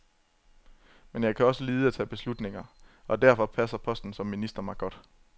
Men jeg kan også lide at tage beslutninger, og derfor passer posten som minister mig godt.